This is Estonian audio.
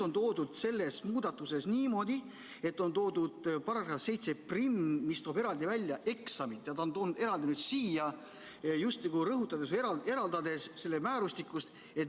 Nüüd selle muudatusega on tehtud niimoodi, et on lisatud § 71, mis toob eraldi välja eksami, ja see on toodud eraldi siia, justkui rõhutades seda või eraldades selle määrustikust.